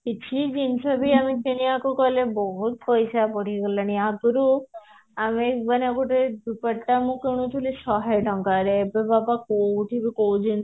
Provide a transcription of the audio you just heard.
କିଛି ବି ଜିନିଷ କିଣିବାକୁ ଗଲେ ବହୁତ ପଇସା ବଢି ଗଲାଣି ଆଗୁରୁ ଆମର ଗୋଟେ ଡୁପଟ୍ଟା ମୁଁ କିଣୁଥିଲି ଶହେ ଟଙ୍କାରେ ଏବେ ବାବା କୋଉଠି ବି କୋଉ ଜିନିଷ